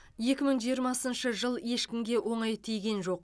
екі мың жиырмасыншы жыл ешкімге оңай тиген жоқ